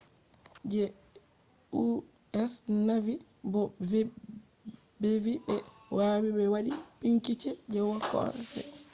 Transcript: je us navy bo bevi be wawi be wadi bincike je koh fe’i